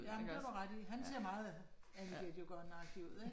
Ja, det har du ret i. Han ser meget Annie get your gun agtig ud, ik